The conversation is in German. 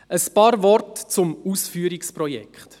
Ein paar Worte zum Ausführungsprojekt: